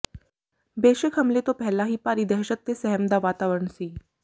ਬੇਸ਼ੱਕ ਹਮਲੇ ਤੋਂ ਪਹਿਲਾਂ ਹੀ ਭਾਰੀ ਦਹਿਸ਼ਤ ਤੇ ਸਹਿਮ ਦਾ ਵਾਤਵਰਣ ਸੀ